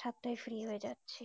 সাত তাই free হয়ে যাচ্ছি